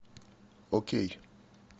окей